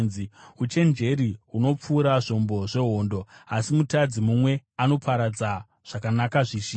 Uchenjeri hunopfuura zvombo zvehondo, asi mutadzi mumwe anoparadza zvakanaka zvizhinji.